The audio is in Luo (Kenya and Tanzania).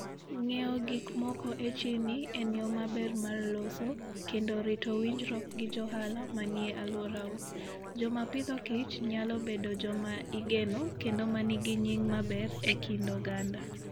Ng'iewo gik moko e chirni en yo maber mar loso kendo rito winjruok gi johala manie alworau. Joma pidhokich nyalo bedo joma igeno kendo ma nigi nying' maber e kind oganda.